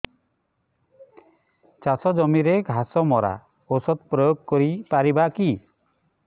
ଚାଷ ଜମିରେ ଘାସ ମରା ଔଷଧ ପ୍ରୟୋଗ କରି ପାରିବା କି